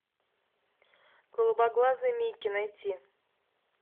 голубоглазый микки найти